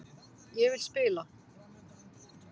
Ég vil spila.